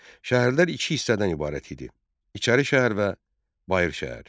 Şəhərlər iki hissədən ibarət idi: İçəri şəhər və Bayır şəhər.